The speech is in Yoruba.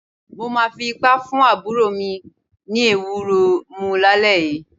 Mo máa fi ipá fún àbúrò mi ní ewúro mu lálẹ́ yìí.